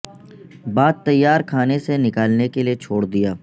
بعد تیار کھانے سے نکالنے کے لئے چھوڑ دیا